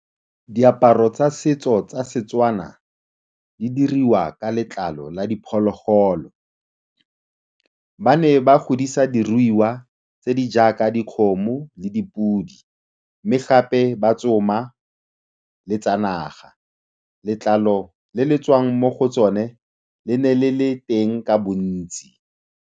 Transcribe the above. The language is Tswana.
Diaparo tsa setso tsa Setswana di dirwa ka letlalo la diphologolo. Ba ne ba godisa diruiwa tse di jaaka dikgomo le dipodi mme gape ba tsoma le tsa naga. Letlalo le le tswang mo go tsone le ne le le teng ka bontsi.